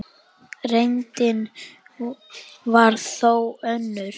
Reyndin var þó önnur.